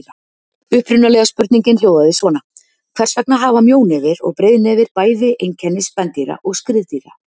Upprunalega spurningin hljóðaði svona: Hvers vegna hafa mjónefir og breiðnefir bæði einkenni spendýra og skriðdýra?